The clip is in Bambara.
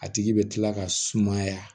A tigi bɛ kila ka sumaya